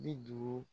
Bi duuru